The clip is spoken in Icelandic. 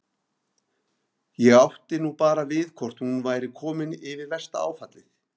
Ég átti nú bara við hvort hún væri komin yfir versta áfallið.